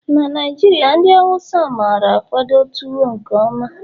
na Naijiria ndi Hausa mara-akwado tuwo nke mma